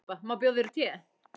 Má bjóða yður te?